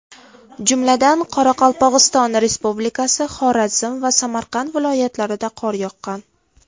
Jumladan, Qoraqalpog‘iston Respublikasi, Xorazm va Samarqand viloyatlarida qor yoqqan.